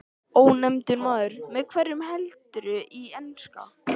Ónefndur maður: Með hverjum heldurðu í enska?